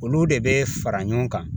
Olu de bɛ fara ɲɔgɔn kan